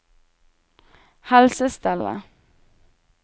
helsestellet